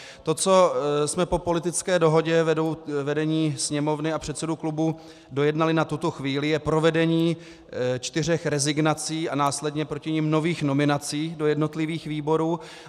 To, co jsme po politické dohodě vedení Sněmovny a předsedů klubů dojednali na tuto chvíli, je provedení čtyř rezignací a následně proti nim nových nominací do jednotlivých výborů.